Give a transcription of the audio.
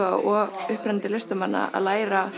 og upprennandi listamanna að læra